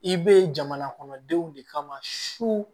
I bɛ jamanakɔnɔdenw de kama su